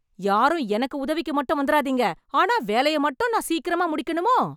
யாரும் எனக்கு உதவிக்கு மட்டும் வந்துறாதீங்க.. ஆனா வேலையை மட்டும் நான் சீக்கிரமா முடிக்கணுமோ?